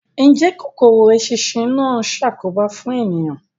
Ǹjẹ́ kòkòrò eṣinṣin náà ń ṣàkóbá fún ènìyàn?